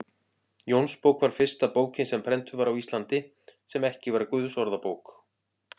Jónsbók var fyrsta bókin sem prentuð var á Íslandi, sem ekki var Guðsorðabók.